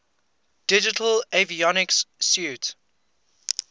digital avionics suite